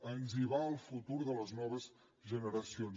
ens hi va el futur de les noves generacions